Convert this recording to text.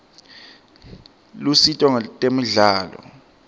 lusito ngetemidlalo